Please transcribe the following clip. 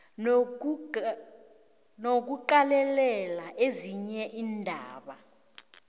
nokuqalelela ezinye iindaba